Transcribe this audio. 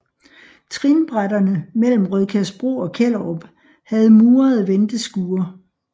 Trinbrætterne mellem Rødkærsbro og Kjellerup havde murede venteskure